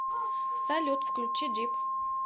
салют включи дип